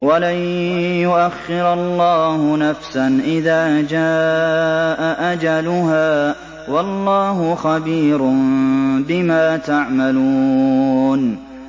وَلَن يُؤَخِّرَ اللَّهُ نَفْسًا إِذَا جَاءَ أَجَلُهَا ۚ وَاللَّهُ خَبِيرٌ بِمَا تَعْمَلُونَ